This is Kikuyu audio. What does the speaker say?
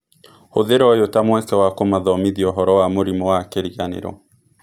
Hũthĩra ũyũ ta mweke wa kũmathomithia ũhoro wa mũrimũ wa kĩriganĩro.